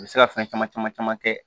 U bɛ se ka fɛn caman caman caman kɛ